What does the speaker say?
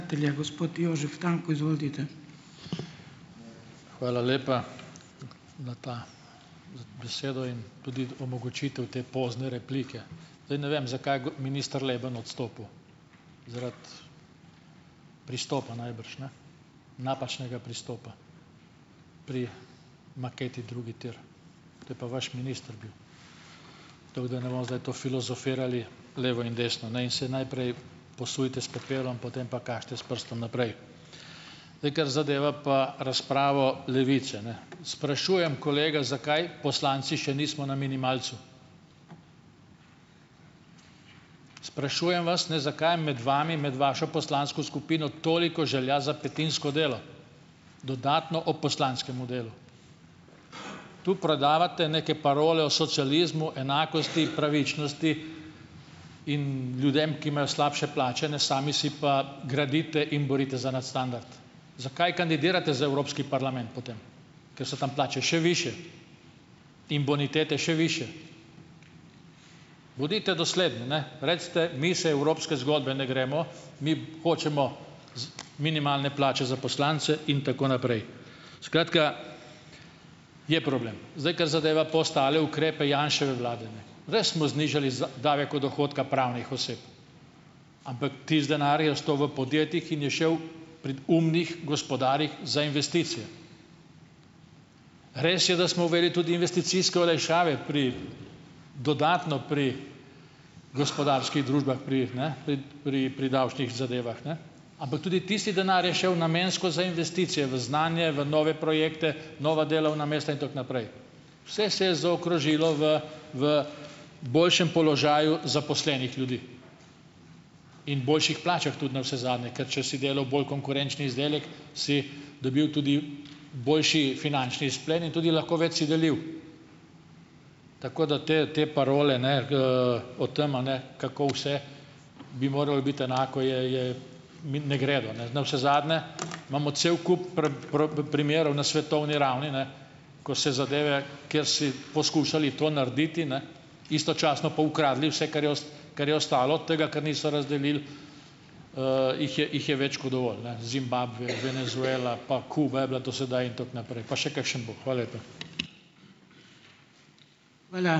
Gospod Jožef Tanko, izvolite. Hvala lepa, na ta omogočitev te pozne replike. Zdaj ne vem, zakaj minister Leben odstopil - zaradi pristopa najbrž ne, napačnega pristopa pri maketi Drugi tir. To je pa vaš minister bil. To filozofirali levo in desno, ne. In se najprej posujte s pepelom, potem pa kažite s prstom naprej. Zdaj, kar zadeva pa razpravo Levice, ne. Sprašujem, kolega, zakaj poslanci še nismo na minimalcu. Sprašujem vas, ne, zakaj je med vami, med vašo poslansko skupino toliko želja za petinsko delo, dodatno ob poslanskem delu. Tu prodajate neke parole o socializmu, enakosti, pravičnosti, in ljudem, ki imajo slabše plače, ne, sami si pa gradite in borite za nadstandard. Zakaj kandidirate za Evropski parlament potem, ker so tam plače še višje in bonitete še višje. Bodite dosledni, ne, recite, mi se evropske zgodbe ne gremo, mi hočemo minimalne plače za poslance in tako naprej. Skratka, je problem. Zdaj, kar zadeva pa ostale ukrepe Janševe vlade, ne. Res smo znižali davek od dohodka pravnih oseb, ampak tisti denar je ostal v podjetjih in je šel pri umnih gospodarjih za investicije. Res je, da smo uvedli tudi investicijske olajšave pri dodatno pri gospodarskih družbah, pri, ne, pri pri pri davčnih zadevah, ne, ampak tudi tisti denar je šel namensko za investicije, v znanje, v nove projekte, nova delovna mesta in tako naprej. Vse se je zaokrožilo v v boljšem položaju zaposlenih ljudi in boljših plačah tudi navsezadnje, ker če si delal bolj konkurenčen izdelek, si dobil tudi boljši finančni izplen in tudi lahko več si delil. Tako da te te parole ne, o tem, a ne, kako vse bi moralo biti enako, je, je, mi ne gredo, ne. Navsezadnje imamo cel kup primerov na svetovni ravni, ne, ko se zadeve, kjer si poskušali to narediti, ne, istočasno pa ukradli vse, kar je kar je ostalo od tega, kar niso razdelili, jih je jih je več kot dovolj, ne, Zimbabve, Venezuela, pa Kuba je bila do sedaj in tako naprej, pa še kakšen bo. Hvala lepa. ...